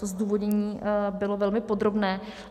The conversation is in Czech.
To zdůvodnění bylo velmi podrobné.